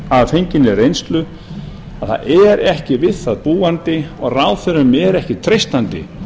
að fenginni reynslu að það er ekki við það búandi og ráðherrum er ekki treystandi